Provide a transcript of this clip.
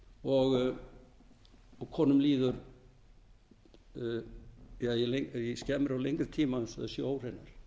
tilvika og konum líður í skemmri og lengri tíma eins og þær séu óhreinar eitt einkennið er að konur þvo sér mjög oft